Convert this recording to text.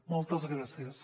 moltes gràcies